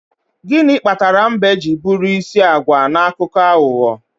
gịnị kpatara mbe ji bụrụ isi agwa na akụkọ aghụghọ